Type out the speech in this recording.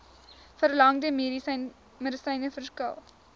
verlangde medisyne verskil